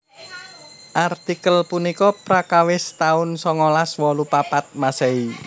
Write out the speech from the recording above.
Artikel punika prakawis taun songolas wolu papat Masehi